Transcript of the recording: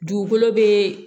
Dugukolo be